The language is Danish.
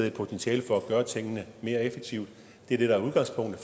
et potentiale for at gøre tingene mere effektivt det er det der